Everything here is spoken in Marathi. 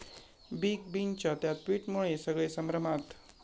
बिग बींच्या 'त्या' ट्विटमुळे सगळे संभ्रमात!